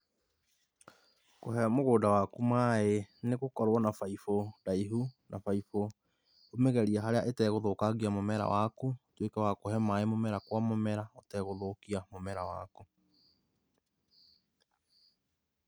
Kũhe mũgũnda waku mai, nĩ gũkorwo na baibũ ndaihũ, na baibũ ũmĩgerĩe harĩa itegũthũkangia mũmera waku, ũtuĩke wa kũreha mai mũmera o mũmera ũtegũthũkia mũmera waku.